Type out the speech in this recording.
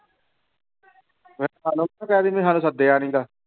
ਫਿਰ ਸਾਨੂੰ ਨਾ ਕਹਿ ਦੇਈਂ ਵੀ ਸਾਨੂੰ ਸੱਦਿਆ ਨੀ ਗਾ।